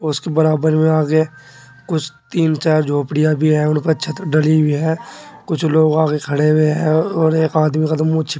उसके बराबर में आगे कुछ तीन चार झोपड़ियां भी हैं उन पर छत डली हुई है कुछ लोग आगे खड़े हुए हैं और एक आदमी का तो मु छि